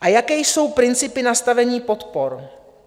A jaké jsou principy nastavení podpor?